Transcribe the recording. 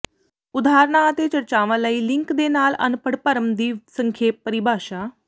ਉਦਾਹਰਨਾਂ ਅਤੇ ਚਰਚਾਵਾਂ ਲਈ ਲਿੰਕ ਦੇ ਨਾਲ ਅਨਪੜ੍ਹ ਭਰਮ ਦੀ ਸੰਖੇਪ ਪਰਿਭਾਸ਼ਾ